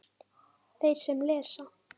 Þeir sem lesa